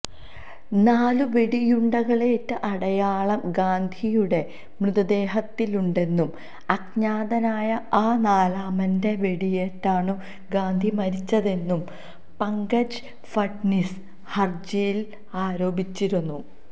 നാലു വെടിയുണ്ടകളേറ്റ അടയാളം ഗാന്ധിയുടെ മൃതദേഹത്തിലുണ്ടെന്നും അജ്ഞാതനായ ആ നാലാമന്റെ വെടിയേറ്റാണു ഗാന്ധി മരിച്ചതെന്നും പങ്കജ് ഫഡ്നിസ് ഹര്ജിയില് ആരോപിച്ചിരുന്നു